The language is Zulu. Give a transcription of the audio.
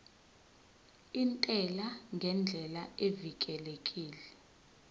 intela ngendlela evikelekile